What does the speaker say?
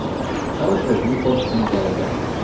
Çalış özünü korpusun qərərgahına sal.